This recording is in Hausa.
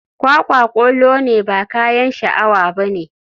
Kwakwa kolo ne ba kayan sha awa bane.